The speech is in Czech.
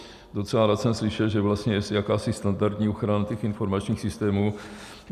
Docela rád jsem slyšel, že vlastně je jakási standardní ochrana těch informačních systémů.